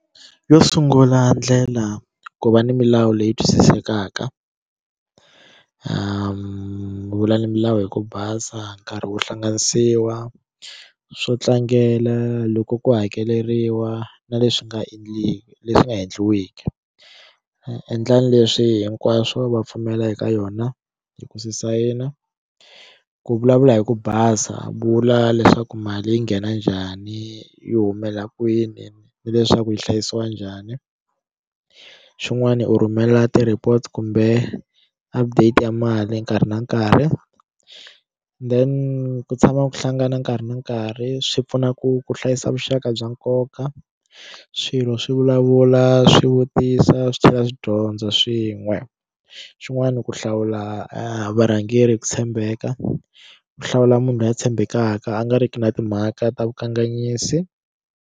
Yo sungula ndlela ku va ni milawu leyi twisisekaka ku vula ni milawu hi ku basa nkarhi wu hlanganisiwa swo tlangela loko ku hakeleriwa na leswi nga endliwi leswi nga endliwiki a endla leswi hinkwaswo va pfumela eka yona hi ku swi sayina ku vulavula hi ku basa vula leswaku mali yi nghena njhani yi humela kwini ni leswaku yi hlayisiwa njhani xin'wani u rhumela ti report kumbe update ya mali nkarhi na nkarhi then ku tshama ku hlangana nkarhi na nkarhi swi pfuna ku ku hlayisa vuxaka bya nkoka swilo swi vulavula swi vutisa swi tlhela swi dyondza swin'we xin'wani ku hlawula varhangeri hi ku tshembeka ku hlawula munhu loyi a tshembekaka a nga ri ki na timhaka ta vukanganyisi.